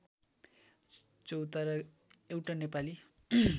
चौतारा एउटा नेपाली